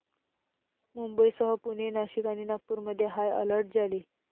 मुंबईसह पुणे, नाशिक आणि नागपूरमध्ये हाय अलर्ट जारी